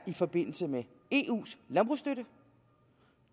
i forbindelse med eus landbrugsstøtte